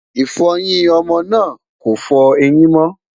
ifoyin ọmọ náà kò fọ ẹyìn mo